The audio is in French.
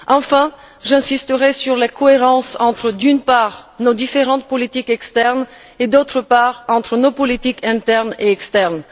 Enfin, j'insisterai sur la cohérence entre, d'une part, nos différentes politiques externes et, d'autre part, entre nos politiques internes et externes.